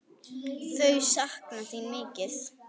Þau sakna þín mikið.